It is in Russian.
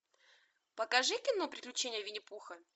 покажи кино приключения винни пуха